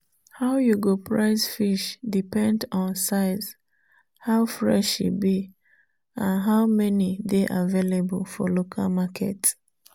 how you go price fish depend on size how fresh e be and how many dey available for local market